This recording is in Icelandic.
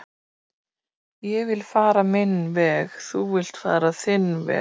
ég vill fara minn veg þú villt fara þinn veg